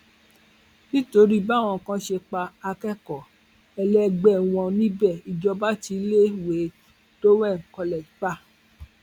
nítorí báwọn kan ṣe pa akẹkọọ ẹlẹgbẹ wọn níbẹ ìjọba ti iléèwé dowen college pa